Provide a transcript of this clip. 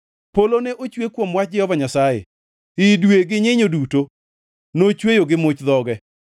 Polo ne ochwe kuom wach Jehova Nyasaye, i dwe gi nyinyo duto nochweyo gi much dhoge.